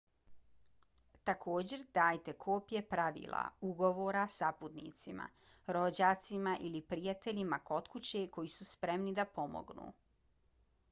također dajte kopije pravila/ugovora saputnicima rođacima ili prijateljima kod kuće koji su spremni da pomognu